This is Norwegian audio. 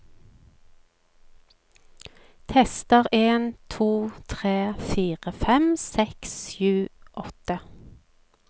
Tester en to tre fire fem seks sju åtte